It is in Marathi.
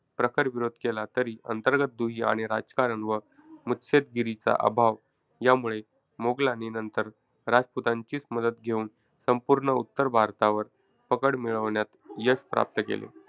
प्रखर विरोध केला, तरी अंतर्गत दुही आणि राजकारण व मुत्सद्देगिरीचा अभाव, यामुळे मोगलांनी नंतर राजपुतांचीच मदत घेऊन संपूर्ण उत्तर भारतावर पकड मिळवण्यात यश प्राप्त केले.